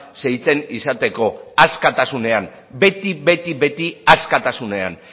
segitzen izateko askatasunean beti askatasunean